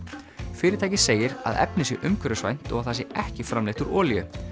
fyrirtækið segir að efnið sé umhverfisvænt og að það sé ekki framleitt úr olíu